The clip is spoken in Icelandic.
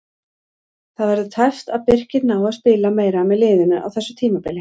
Það verður tæpt að Birkir nái að spila meira með liðinu á þessu tímabili.